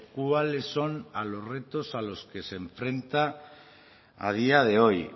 cuáles son a los retos a los que se enfrenta a día de hoy